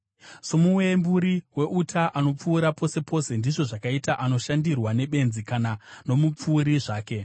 Somuwemburi weuta anopfura pose pose, ndizvo zvakaita anoshandirwa nebenzi kana nomupfuuri zvake.